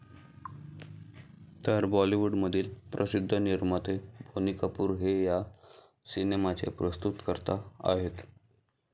तर बॉलीवूडमधील प्रसिध्द निर्माते बोनी कपूर हे या सिनेमाचे प्रस्तुतकर्ता आहेत.